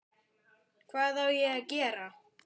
Hvað á ég að gera?